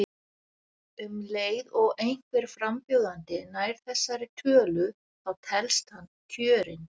Um leið og einhver frambjóðandi nær þessari tölu þá telst hann kjörinn.